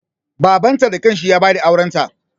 Babanta da kanshi ya ba da aurenta.